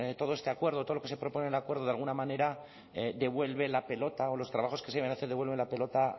todo este acuerdo todo lo que se propone el acuerdo de alguna manera devuelve la pelota o los trabajos que devuelve la pelota